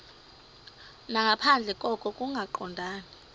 nangaphandle koko kungaqondani